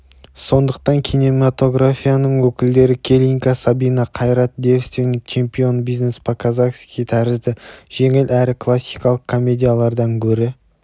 сондықтан кинематографияның өкілдері келинка сабина кайрат девственник-чемпион бизнес по казахский тәрізді жеңіл әрі кассалық комедиялардан гөрі